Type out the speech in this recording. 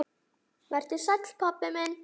Vertu sæll, pabbi minn.